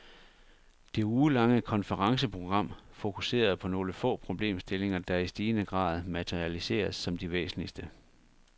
Det ugelange konferenceprogram fokuserede på nogle få problemstillinger, der i stigende grad materialiseres som de væsentligste.